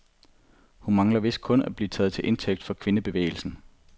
Hun mangler vist kun at blive taget til indtægt for kvindebevægelsen.